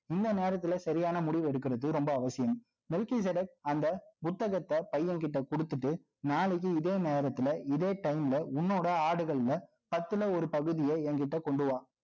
இந்த நேரத்துல, சரியான முடிவு எடுக்கிறது, ரொம்ப அவசியம் நிக்கி ஜெரக் அந்த புத்தகத்தை, பையன் கிட்ட கொடுத்துட்டு, நாளைக்கு, இதே நேரத்துல, இதே time ல, உன்னோட ஆடுகள்ல, பத்துல ஒரு பகுதியே, என்கிட்ட கொண்டு வா